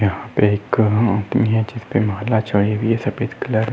यहाँ पर एक हुई है सफेद कलर --